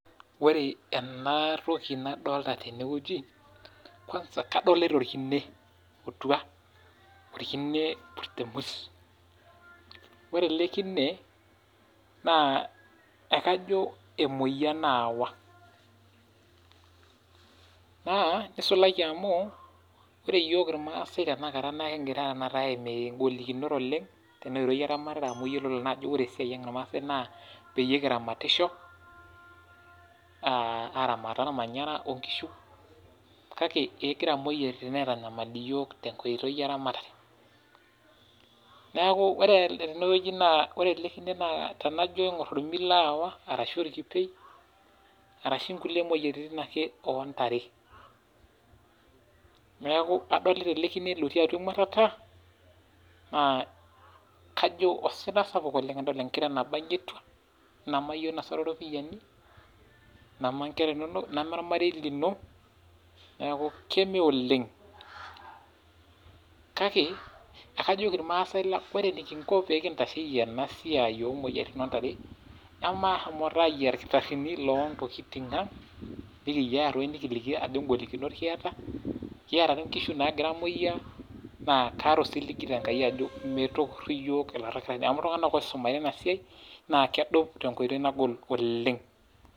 Ore enatoki nadolta tenewueji, kwansa kadolita orkine otua, orkine pursemus. Ore ele kine, naa ekajo emoyian naawa. Naa nisulaki amu, ore yiok irmaasai tanakata na ekigira tanakata aimaa golikinot oleng, tenoitoi eramatare amu yiololo naajo ore esiai ang irmaasai naa peyie kiramatisho, aramat ormanyara onkishu, kake egira moyiaritin aitanyamal iyiok tenkoitoi eramatare. Neeku ore tenewoji naa ore ele kine naa tenajo duo aing'or ormilo oowa arashu orkipei, arashu nkulie moyiaritin ake ontare. Neeku adolita ele kine lotii atua emuatata, kajo osina sapuk oleng enadol enkiteng nabaji etua, namayie oinosa toropiyiani, nama nkera inonok, nama ormarei lino, neeku keme oleng. Kake, ekajoki irmaasai lang ore enikinko pekintasheyie enasiai omoyiaritin ontare, emahomoita ayiaya irkitaarrini lontokiting ang, nikiyiaya toi nikiliki ajo igolikinot kiata, kiata ake nkishu nagira amoyiaa, na kaata osiligi tenkai ajo mitukurru yiok ilakirrani amu iltung'anak oisumare enasiai, na kedup tenkoitoi nagol oleng.